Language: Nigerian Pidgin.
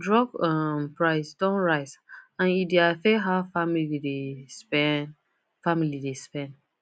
drug um price don rise and e dey affect how family dey spend family dey spend